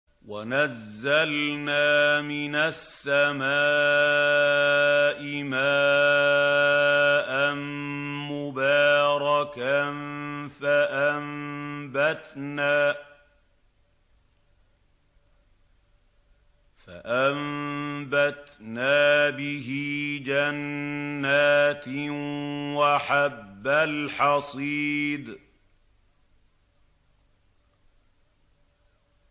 وَنَزَّلْنَا مِنَ السَّمَاءِ مَاءً مُّبَارَكًا فَأَنبَتْنَا بِهِ جَنَّاتٍ وَحَبَّ الْحَصِيدِ